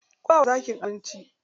Ku bawa zakin abinci.